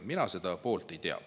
Mina seda poolt ei tea.